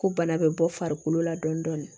Ko bana bɛ bɔ farikolo la dɔɔni dɔɔni